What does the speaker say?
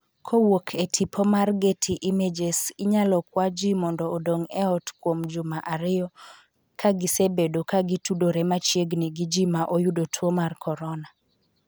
kowuok e tipo mar getty images inyalo kwa jii mondo odong’ e ot kuom juma ariyo ka gisebedo ka gitudore machiegni gi ji ma oyudo tuo mar corona